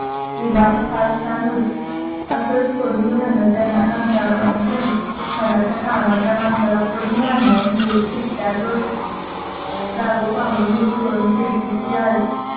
ही बाब फार छान होती. असंच पडून राहणं त्यांना कंटाळवाणं झालं. हाडाच्या कामाच्या माणसाला पडून राहणं ही एक शिक्षाच असते. राघव पांघरून दुडकळून खिडकीशी आले.